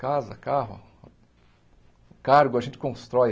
Casa, carro, cargo a gente constrói.